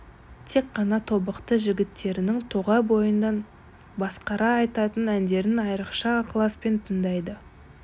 тек қана тобықты жігіттерінің тоғай бойынан басқарақ айтатын әндерін айрықша ықыласпен тыңдайды